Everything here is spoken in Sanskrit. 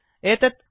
एतत् प्रयतिष्यामः